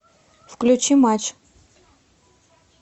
включи матч